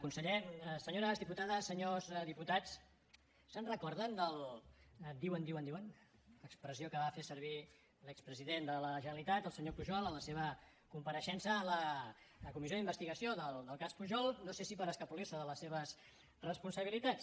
conseller senyores diputades senyors diputats se’n recorden del diuen diuen diuen expressió que va fer servir l’expresident de la generalitat el senyor pujol en la seva compareixença a la comissió d’investigació del cas pujol no sé si per escapolir se de les seves responsabilitats